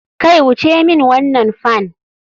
Kai wuce min wannan fan.